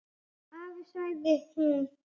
Afi, sagði hún.